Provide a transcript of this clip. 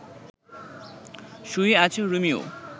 শুয়ে আছে রোমিও